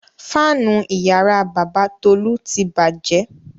Fáánù ìyàrá bàbá Tolú ti bàjẹ́.